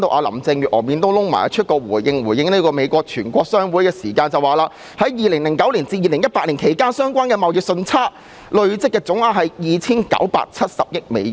林鄭月娥臉都黑了，回應美國全國商會表示，在2009年至2018年期間，相關貨物貿易順差的累計總額達 2,970 億美元。